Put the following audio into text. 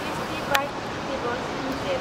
tasty Bite Eatables limited